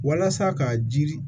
Walasa ka jiri